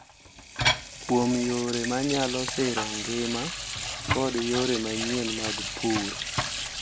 Kuom yore ma nyalo siro ngima kod yore manyien mag pur.